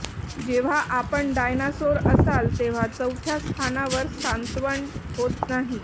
जेव्हा आपण डायनासोर असाल तेव्हा चौथ्या स्थानावर सांत्वन होत नाही